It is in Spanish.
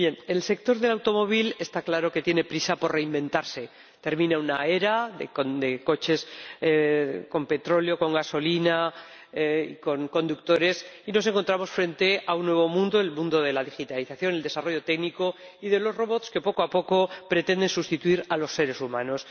El sector del automóvil está claro que tiene prisa por reinventarse. Termina una era de coches con petróleo, con gasolina, con conductores, y nos encontramos frente a un nuevo mundo, el mundo de la digitalización, del desarrollo técnico y de los robots, que poco a poco pretenden sustituir a los seres humanos.